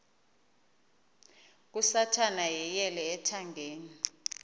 kasathana yeyele ethangeni